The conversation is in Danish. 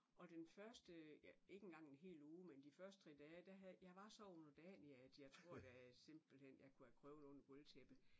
Og den første ja ikke engang en hel uge men de første 3 dage da havde jeg var så underdanig at jeg tror da simpelthen jeg kunne have krøbet under gulvtæppet